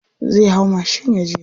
Zai hau mashin yaje.